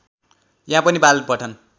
यहाँ पनि बाल पठन